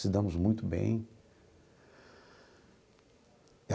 Se damos muito bem.